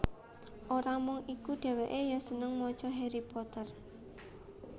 Ora mung iku dhèwèkè ya seneng maca Harry Potter